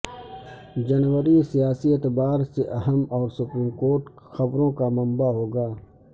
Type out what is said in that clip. جنوری سیاسی اعتبار سے اہم اور سپریم کورٹ خبروں کا منبع ہوگا